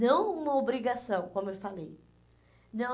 Não uma obrigação, como eu falei. Não